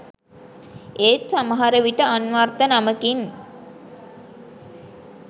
ඒත් සමහරවිට අන්වර්ථ නමකින්